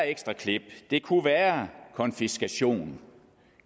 ekstra klip det kunne være konfiskation